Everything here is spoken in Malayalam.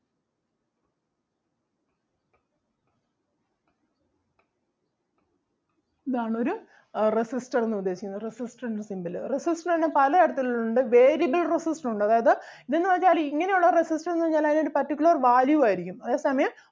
ഇതാണ് ഒരു ആഹ് resistor എന്ന് ഉദ്ദേശിക്കുന്നത് resistor ൻ്റെ symbol അഹ് resistor തന്നെ പല തരത്തിൽ ഉണ്ട് variable resistor ഉണ്ട് അതായത് ഇത് എന്ന് വെച്ചാല് ഇങ്ങനെ ഉള്ള resistor എന്ന് പറഞ്ഞാല് അതിന് ഒരു particular value ആരിക്കും അതേ സമയം